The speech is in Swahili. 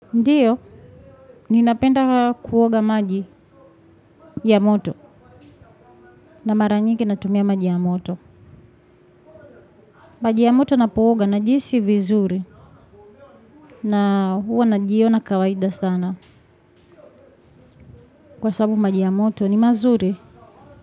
Ndiyo, ninapenda kuoga maji ya moto na mara nyingi natumia maji ya moto. Maji ya moto ninapo oga najihisi vizuri na huwa najiona kawaida sana kwa sababu maji ya moto ni mazuri.